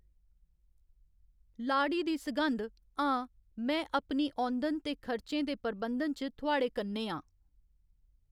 लाड़ी दी सघंध, हां, में अपनी औंदन ते खर्चें दे प्रबंधन च थुआढ़े कन्नै आं।